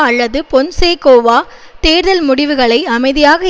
அல்லது பொன்சேகோவா தேர்தல் முடிவுகளை அமைதியாக